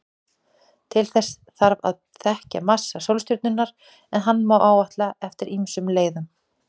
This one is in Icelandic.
Til þess þarf að þekkja massa sólstjörnunnar, en hann má áætla eftir ýmsum leiðum.